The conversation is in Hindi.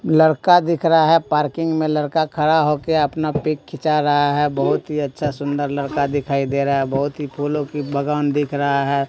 लड़का दिख रहा है पार्किंग में लड़का खड़ा हो के अपना पिक खींचा रहा है बहुत ही अच्छा सुंदर लड़का दिखाई दे रहा है बहुत ही फूलों की बागान दिख रहा है।